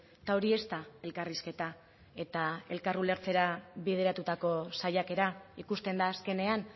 eta hori ez da elkarrizketa eta elkar ulertzera bideratutako saiakera ikusten da azkenean